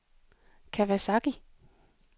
Kawasaki